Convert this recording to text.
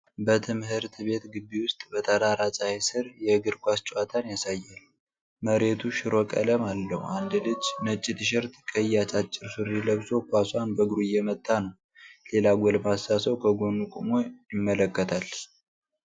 በትምህርት ቤት ግቢ ውስጥ በጠራራ ፀሐይ ሥር የእግር ኳስ ጨዋታን ያሳያል። መሬቱ ሽሮ ቀለም አለው፤ አንድ ልጅ ነጭ ቲሸርት ቀይ አጫጭር ሱሪ ለብሶ ኳሷን በእግሩ እየመታ ነው። ሌላ ጎልማሳ ሰው ከጎኑ ቆሞ ይመለከታል።